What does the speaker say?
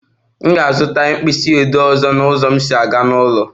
M ga-azụta pen ọzọ na ụzọ m si aga n'ụlọ